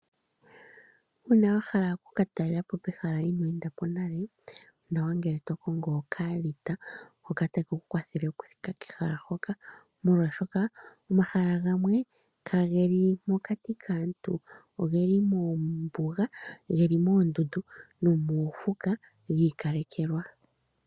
Uuna wa hala okukatalela po kehala hoka iinoo enda ko nale onawa ngele to kongo okaalita molwashoka omahala gamwe kageli pokati kaantu ihe ogeli moondundu geli moofuka giikalekelwa.